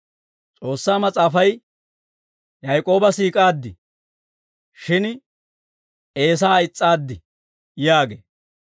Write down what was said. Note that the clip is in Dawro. S'oossaa Mas'aafay, «Yaak'ooba siik'aaddi; shin Eesaa is's'aaddi» yaagee.